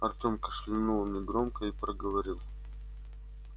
артем кашлянул негромко и проговорил